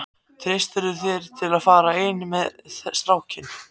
Treystirðu þér til að fara eina ferð með strákinn?